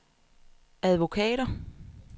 advokater